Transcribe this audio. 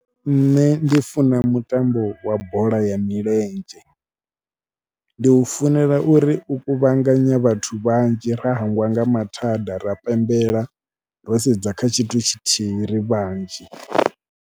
Nṋe ndi funa mutambo wa bola ya milenzhe, ndi u funela uri u kuvhanganya vhathu vhanzhi ra hangwa nga mathada, ra pembela, ro sedza kha tshithu tshithihi ri vhanzhi.